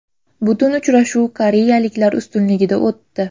Butun uchrashuv koreyaliklar ustunligida o‘tdi.